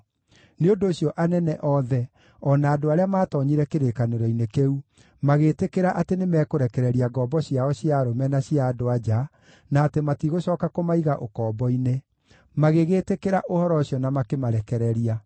Nĩ ũndũ ũcio anene othe o na andũ arĩa maatoonyire kĩrĩkanĩro-inĩ kĩu, magĩtĩkĩra atĩ nĩmekũrekereria ngombo ciao cia arũme na cia andũ-a-nja, na atĩ matigũcooka kũmaiga ũkombo-inĩ. Magĩgĩĩtĩkĩra ũhoro ũcio na makĩmarekereria.